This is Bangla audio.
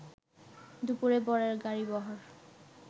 দুপুরে বরের গাড়িবহর